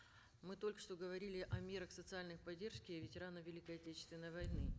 мы только что говорили о мерах социальной поддержки ветеранов великой отечественной войны